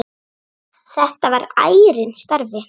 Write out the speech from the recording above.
Þetta var ærinn starfi.